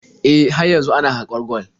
E, har yanzu ana haƙar gwal.